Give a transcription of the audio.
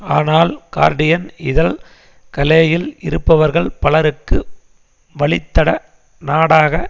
ஆனால் கார்டியன் இதழ் கலேயில் இருப்பவர்கள் பலருக்கு வழித்தட நாடாக